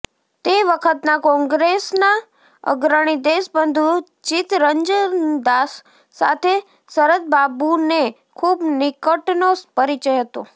તે વખતના કોંગ્રેસના અગ્રણી દેશબંધુ ચિત્તરંજનદાસ સાથે શરદબાબુને ખૂબ નિકટનો પરિચય હતો